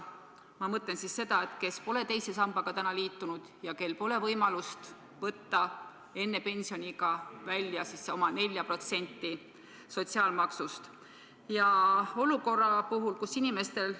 Ma mõtlen neid, kes pole teise sambaga liitunud ja kel pole võimalust võtta enne pensioniiga välja 4% oma sotsiaalmaksust?